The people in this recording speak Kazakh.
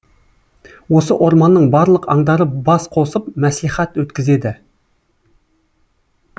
осы орманның барлық аңдары бас қосып мәслихат өткізеді